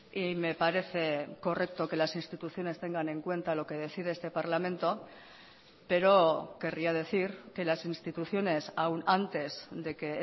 y me parece correcto que las instituciones tengan en cuenta lo que decide este parlamento pero querría decir que las instituciones aún antes de que